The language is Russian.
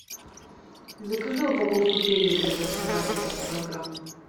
закажи упаковку педигри для собаки пять килограмм